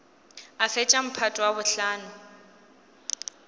a fetša mphato wa bohlano